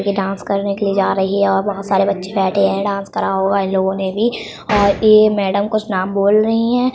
ये डांस करने के लिए जा री हैं और बहोत सारे बच्चे बैठे हैं डांस करा हुआ है इन लोगों ने भी और ये मैंडम कुछ नाम बोल रही है।